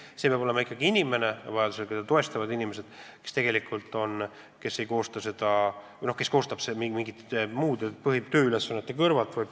Ja see peab olema inimene, keda vajadusel abilised toetavad, aga kes ei koosta seda raportit mingite muude tööülesannete kõrvalt.